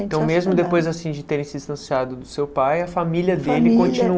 Então mesmo depois assim de terem se distanciado do seu pai, a família dele